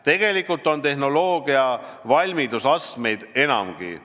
Tegelikult on tehnoloogia valmidusastmeid enamgi.